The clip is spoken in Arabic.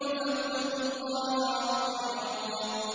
فَاتَّقُوا اللَّهَ وَأَطِيعُونِ